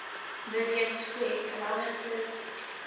million square kilometres